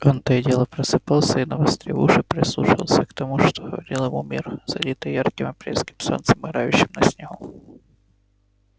он то и дело просыпался и навострив уши прислушивался к тому что говорил ему мир залитый ярким апрельским солнцем играющим на снегу